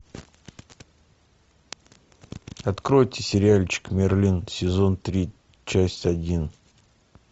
откройте сериальчик мерлин сезон три часть один